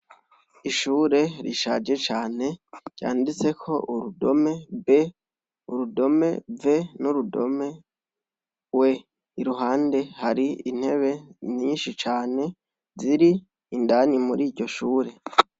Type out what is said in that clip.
Ishure rishaje cane ryanditseko urudome B, urudome v, n'urudome w iruhande hari intebe nyinshi cane ziri indani muriryo shure.